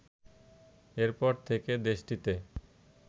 এরপর থেকে দেশটিতে